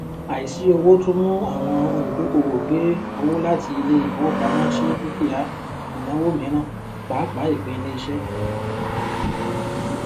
àìsí owó tún mú àwọn olùdókòwò gbé owó láti ilé ìfowópamọ sí dúkìà ìnáwó mìíràn pàápàá ìpín ilé iṣẹ